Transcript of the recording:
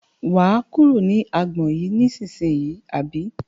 Wà á kúrò ní agbọn yìí ní ìsínyì àbí?